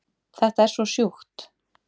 Þetta er svo sjúkt